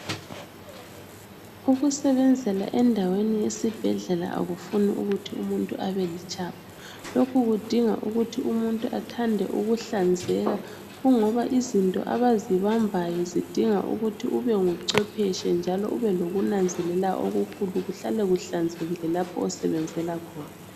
Ukusebenzela endaweni yesibhedlela akufuni umuntu ebe litshapha lokhu kudinga ukuthi umuntu bathande ukuhlanzeka kungoba izinto abazibambayo zidinga ukuba ube nguchwephetshe njalo ubelokunanzelela kuhlale kuhlanzekile lapho osebenzela khona.